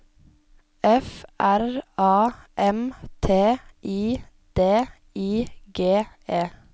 F R A M T I D I G E